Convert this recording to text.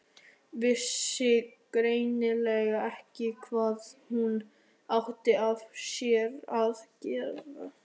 Vissi greinilega ekki hvað hún átti af sér að gera.